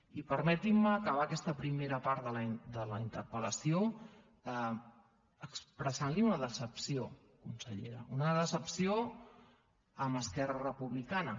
i permetin me acabar aquesta primera part de la interpel·lació expressant li una decepció consellera una decepció amb esquerra republicana